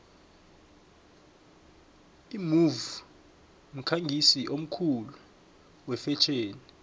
imove mkhangisi omkhulu wefetjheni